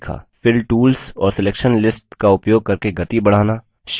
fill tools और selection lists का उपयोग करके गति बढ़ना